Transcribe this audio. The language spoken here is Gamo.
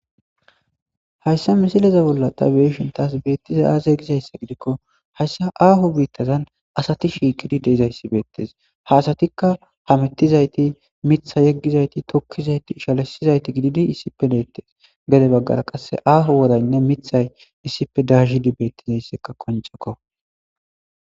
Hayssa misilezabolla ta beyishin taas berttizay aaze gizayssa gidikko hayssa aaho biittazan adati shiiqidi dizayssibeettes.ha asatikka hamettizayti tokkizayti shalizayti gididi deettes.gede baggara qasse aaho woraynne mithay keehippe daayidi beettizayssikka qoncekko.